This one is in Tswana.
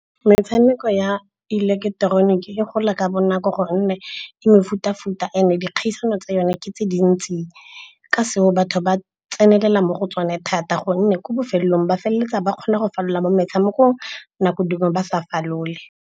Metshameko ya ileketeroniki e gola ka bonako gonne e mefuta-futa and dikgaisano tsa yone ke tse dintsi. Ka seo, batho ba tsenelela mo go tsone thata gonne ko bofelelong ba feleletsa ba kgona go falola mo metshamekong, nako dingwe ba sa falole.